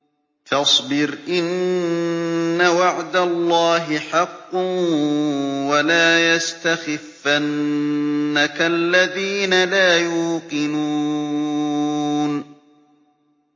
فَاصْبِرْ إِنَّ وَعْدَ اللَّهِ حَقٌّ ۖ وَلَا يَسْتَخِفَّنَّكَ الَّذِينَ لَا يُوقِنُونَ